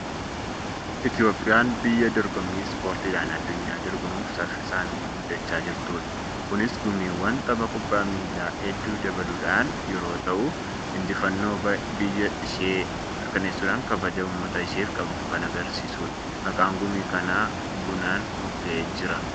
Itoophiyaan biyya dorgommii ispoortiidhaan addunyaa dorgomuuf saffisaanbguddachaa jirtudha. Kunis gumiiwwan tapha kubbaa miilaa hedduu dabaluudhaan yeroo ta'u, injifannoo biyya isee mirkaneessuudhaan kabaja uummata isheef qabdu kan argisiisudha. Maqaan gumii kanaa bunaan mogga'ee jira.